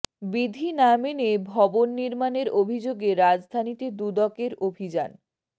বিধি না মেনে ভবন নির্মাণের অভিযোগে রাজধানীতে দুদকের অভিযান